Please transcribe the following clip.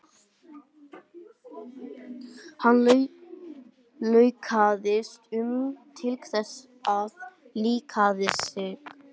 Hann staulaðist um til þess að liðka sig.